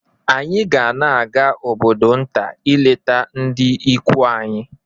Anyị ga na-aga obodo nta ileta ndị ikwu anyị